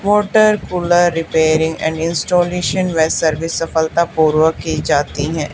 Water cooler repairing and installation वे service सफलतापूर्वक की जाती है।